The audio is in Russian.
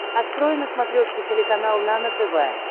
открой на смотрешке телеканал нано тв